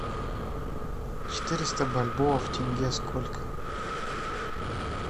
четыреста бальбоа в тенге сколько